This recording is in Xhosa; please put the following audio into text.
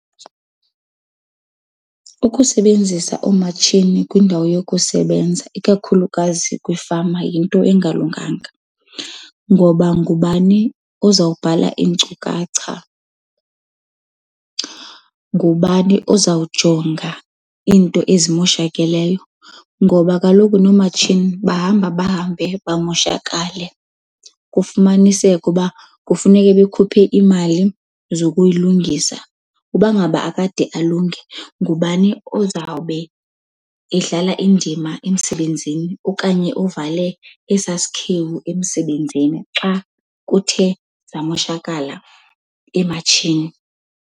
Ukusebenzisa oomatshini kwiindawo yokusebenza ikakhulukazi kwiifama yinto engalunganga ngoba ngubani ozawubhala iinkcukacha, ngubani ozawujonga into ezimoshakeleyo? Ngoba kaloku noomatshini bahamba bahambe bamoshakale kufumaniseke uba kufuneke bekhuphe imali zokuyilungisa Uba ngaba akade alunge, ngubani ozawube edlala indima emsebenzini okanye ovale esaa sikhewu emsebenzini xa kuthe zamoshakala iimatshini?